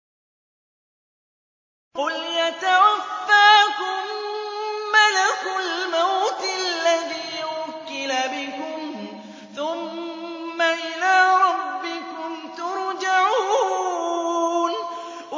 ۞ قُلْ يَتَوَفَّاكُم مَّلَكُ الْمَوْتِ الَّذِي وُكِّلَ بِكُمْ ثُمَّ إِلَىٰ رَبِّكُمْ تُرْجَعُونَ